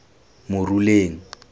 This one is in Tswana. moruleng